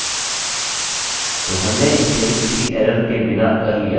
ठीक है चलिए इसे देखते हैं